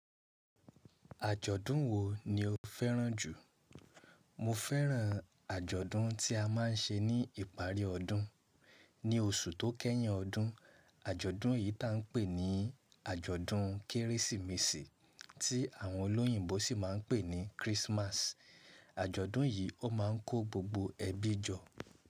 Àjọ̀dún wo ni o fẹ́ràn jù? Mo fẹ́ràn àjọ̀dún tí a máa ń ṣe ní ìparí ọdún. Ní oṣù tó kẹ́yìn ọdún. Àjọ̀dún yìí ta n pè ní àjọ̀dún Kérésìmesì tí àwọn olóyìnbo sì máa ń pè ní Christmas. Àjọ̀dún yìí ó máa ń kó gbogbo ẹbí jọ.